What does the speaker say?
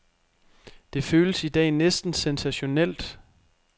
Det føles i dag næsten sensationelt.